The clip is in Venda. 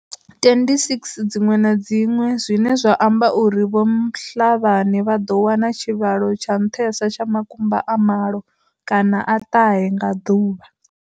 26 dziṅwe na dziṅwe, zwine zwa amba uri vho Mhlabane vha ḓo wana tshivhalo tsha nṱhesa tsha makumba a malo kana a ṱahe nga ḓuvha.